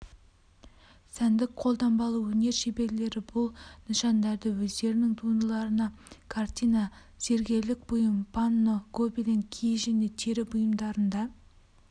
сәндік-қолданбалы өнер шеберлері бұл нышандарды өздерінің туындыларында картина зергерлік бұйым панно гобелен киіз және тері бұйымдарында